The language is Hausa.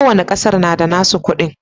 Kowanne kasar na da nassu kudi.